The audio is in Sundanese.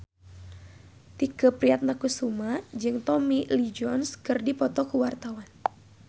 Tike Priatnakusuma jeung Tommy Lee Jones keur dipoto ku wartawan